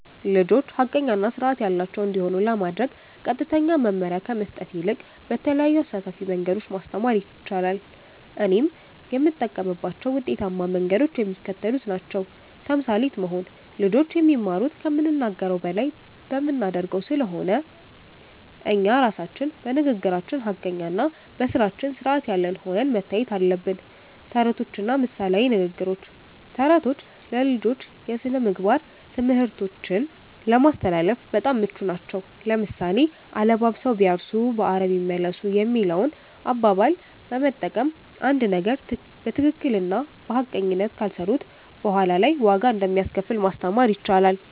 ልጆች ሐቀኛ እና ሥርዓት ያላቸው እንዲሆኑ ለማድረግ ቀጥተኛ መመሪያ ከመስጠት ይልቅ በተለያዩ አሳታፊ መንገዶች ማስተማር ይቻላል። እኔም የምጠቀምባቸው ውጤታማ መንገዶች የሚከተሉት ናቸው። ተምሳሌት መሆን (Role Modeling)፦ ልጆች የሚማሩት ከምንናገረው በላይ በምናደርገው ስለሆነ፣ እኛ ራሳችን በንግግራችን ሐቀኛና በሥራችን ሥርዓት ያለን ሆነን መታየት አለብን። ተረቶችና ምሳሌያዊ ንግግሮች፦ ተረቶች ለልጆች የሥነ-ምግባር ትምህርቶችን ለማስተላለፍ በጣም ምቹ ናቸው። ለምሳሌ፣ "አለባብሰው ቢያርሱ በአረም ይመለሱ" የሚለውን አባባል በመጠቀም፣ አንድን ነገር በትክክልና በሐቀኝነት ካልሰሩት በኋላ ላይ ዋጋ እንደሚያስከፍል ማስተማር ይቻላል።